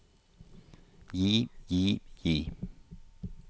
gi gi gi